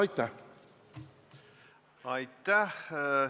Aitäh!